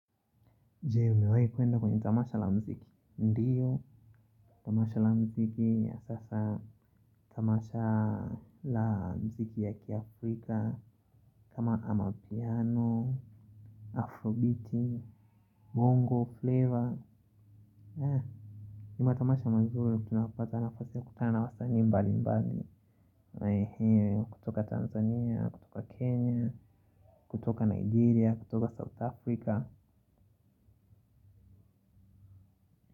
Jee umewahi kwenda kwenye tamasha la mziki, ndiyo. Tamasha la mziki ya sasa. Tamasha la mziki ya kiafrika kama amapiano, afrobeat, bongo flavor. Kuna tamasha mazuri tunayopata kutokana wasanii mbalimbali. Kutoka Tanzania, kutoka Kenya, kutoka Nigeria, kutoka South Africa.